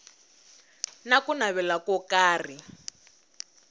na ku navela ko karhi